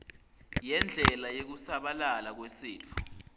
yendlela yekusabalala kwesitfo